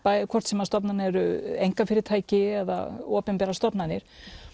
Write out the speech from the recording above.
hvort sem stofnanir eru einkafyrirtæki eða opinberar stofnanir